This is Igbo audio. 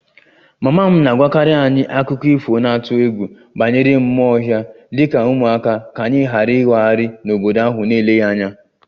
Mama m na-agwakarị anyị akụkọ ifo na-atụ egwu banyere mmụọ ọhịa dị ka ụmụaka ka anyị ghara ịwagharị n'obodo ahụ n'eleghị anya